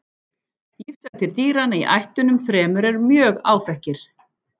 Lífshættir dýranna í ættunum þremur eru mjög áþekkir.